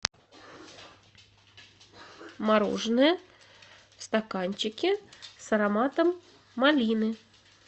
мороженое в стаканчике с ароматом малины